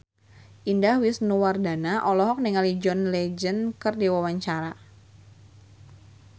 Indah Wisnuwardana olohok ningali John Legend keur diwawancara